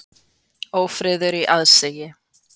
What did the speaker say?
Ófriður í aðsigi.